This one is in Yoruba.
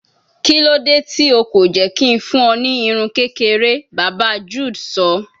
Kilode ti o ko jẹ ki n fun ọ ni irun kekere, baba Jude sọ